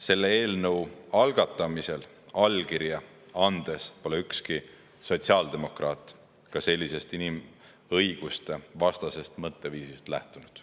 Selle eelnõu algatamisel allkirja andes ükski sotsiaaldemokraat sellisest inimõigustevastasest mõtteviisist ka ei lähtunud.